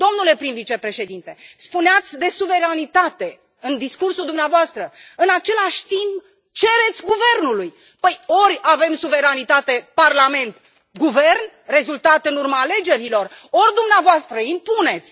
Domnule prim vicepreședinte, spuneați de suveranitate în discursul dumneavoastră, în același timp cereți guvernului ori avem suveranitate parlament guvern, rezultat în urma alegerilor, ori dumneavoastră impuneți.